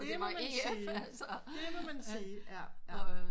Det må man sige det må man sige